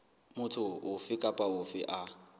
motho ofe kapa ofe a